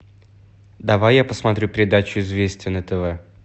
давай я посмотрю передачу известия на тв